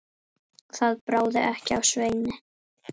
Það bráði ekki af Sveini.